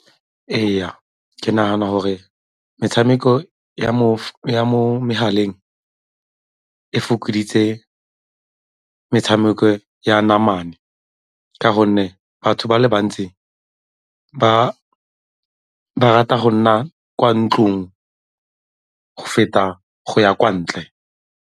Ee, ke nagana gore metshameko ya mo megaleng e fokoditse metshameko ya namane ka gonne batho ba le bantsi ba rata go nna kwa ntlong go feta go ya kwa ntle.